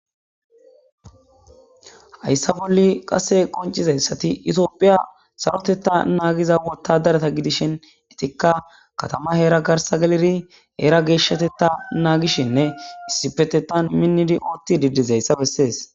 Hayssa bolli qase qoncizayssati itoophiya sarotetta naagiza wottadarata gidishin etikka katama heera garsa geliri heera geeshshatetta naagishinne issipetetan minnidi ootti didiz hayssa bessees.